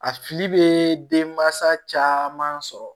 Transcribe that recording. A fili bɛ denmansa caman sɔrɔ